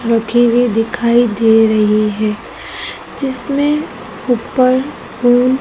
रखी हुई दिखाई दे रही है जिसमें ऊपर पु--